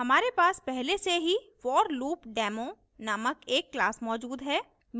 हमारे पास पहले से ही forloopdemo named एक class class मौजूद है